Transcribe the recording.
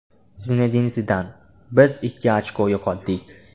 Zinedin Zidan: Biz ikki ochko yo‘qotdik !